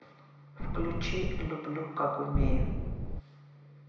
включи люблю как умею